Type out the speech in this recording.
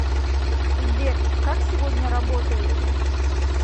сбер как сегодня работаете